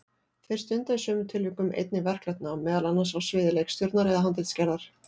Þeir stunda í sumum tilvikum einnig verklegt nám, meðal annars á sviði leikstjórnar eða handritsgerðar.